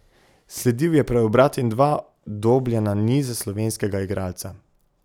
Sledil je preobrat in dva dobljena niza slovenskega igralca.